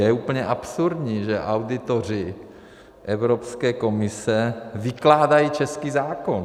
Je úplně absurdní, že auditoři Evropské komise vykládají český zákon!